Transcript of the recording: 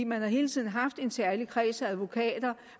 man har hele tiden haft en særlig kreds af advokater